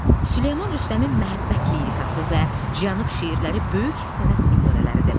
Süleyman Rüstəmin məhəbbət lirası və Cənub şeirləri böyük sənət nümunələridir.